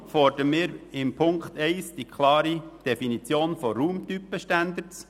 Deshalb fordern wir in Ziffer 1 die klare Definition von Raumtypen-Standards.